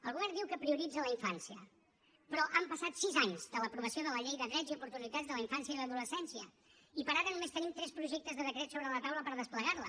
el govern diu que prioritza la infància però han passat sis anys de l’aprovació de la llei de drets i oportunitats de la infància i l’adolescència i per ara només tenim tres projectes de decret sobre la taula per desplegar la